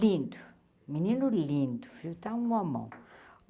Lindo, menino lindo, viu, está um homão.